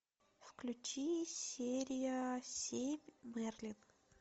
включи серия семь мерлин